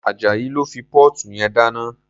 Ajayi ló fi póòtù yẹn dáná.